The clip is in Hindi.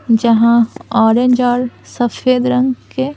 जहाँ ऑरेंज और सफेद रंग के--